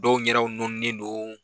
Dɔw ɲɛda nɔninen don